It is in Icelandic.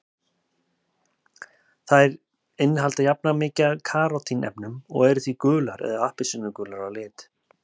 Þær innihalda jafnan mikið af karótín-efnum og eru því gular eða appelsínugular að lit.